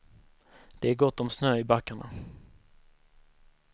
Det är gott om snö i backarna.